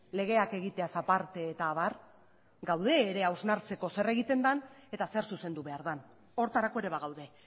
legeak egiteaz aparte eta abar gaude ere hausnartzeko zer egiten den eta zer zuzendu behar den horretarako ere bagaude